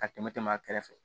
Ka tɛmɛ tɛm'a kɛrɛfɛ